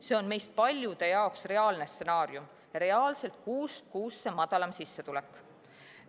See on meist paljude jaoks reaalne stsenaarium ja reaalselt kuust kuusse madalam sissetulek.